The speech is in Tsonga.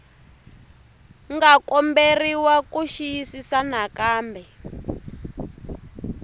nga komberiwa ku xiyisisisa nakambe